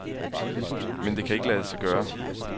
Men det kan ikke lade sig gøre.